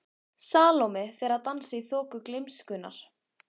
Salóme fær að dansa í þoku gleymskunnar.